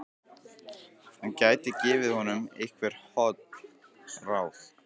Hann gæti gefið honum einhver holl ráð.